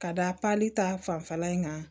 Ka da pali ta fanfɛla in kan